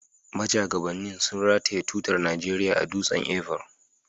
Majagabannin sun rataye tutar Najeriya a Dutsen Ever.